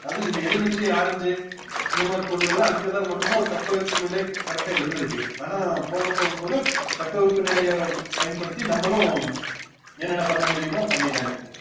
அது இந்த எலும்பிச்சை orange சு இந்தமாதிரி பொருளெல்லாம் அங்கதான் மட்டும்தான் தட்பவெப்பம்நிலை correct ஆ இருந்துருக்கு ஆனா போக போக போக தட்பவெப்பநிலையை பயன்படுத்தி நம்மளும் என்னென்ன பண்ண முடியுமோ பண்ணீட்டாங்க